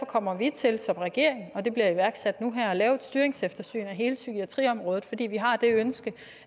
kommer vi til som regering og det bliver iværksat nu her at lave et styringseftersyn af hele psykiatriområdet fordi vi har et ønske